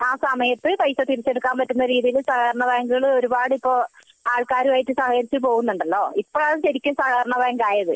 ആ സമയത്തു പൈസ തിരിച്ചെടുക്കാൻ പറ്റുന്ന രീതിയിൽ സഹകരണ ബാങ്ക് ഇപ്പൊ ഒരുപാട് ഇപ്പൊ ആൾക്കാരുമായി സഹകരിച്ചു പോകുന്നുണ്ടല്ലോ ഇപ്പൊ ആണ് ശരിക്കും സഹകരണ ബാങ്ക് ആയത്